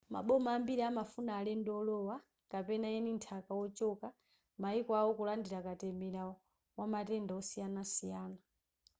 maboma ambiri amafuna alendo olowa kapena eni nthaka ochoka maiko awo kulandira katemera wamatenda osiyanasiyana